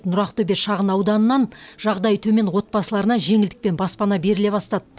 нұр ақтөбе шағын ауданынан жағдайы төмен отбасыларына жеңілдікпен баспана беріле бастады